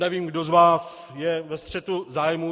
Nevím, kdo z vás je ve střetu zájmů.